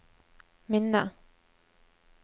minne